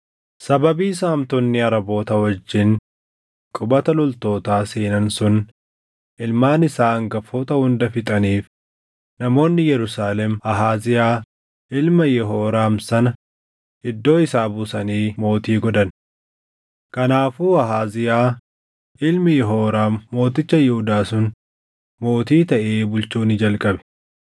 Sababii Saamtonni Araboota wajjin qubata loltootaa seenan sun ilmaan isaa hangafoota hunda fixaniif namoonni Yerusaalem Ahaaziyaa ilma Yehooraam sana iddoo isaa buusanii mootii godhan. Kanaafuu Ahaaziyaa ilmi Yehooraam mooticha Yihuudaa sun mootii taʼee bulchuu ni jalqabe.